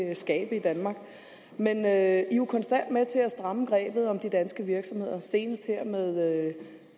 vil skabe i danmark men man er jo konstant med til at stramme grebet om de danske virksomheder senest her med